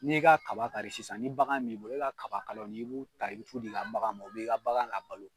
N'i y'i ka kaba kari sisan ni bagan min bolo e ka kaba kala i b'u ta, i b'u tu d'i ka bagan ma, u b'i ka bagan labalo